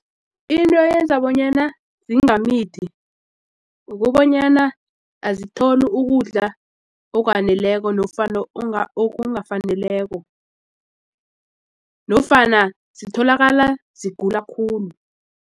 Into eyenza bonyana zingamithi kukobanyana azitholi ukudla okwaneleko nofana okungafaneleko nofana zitholakala zigula khulu.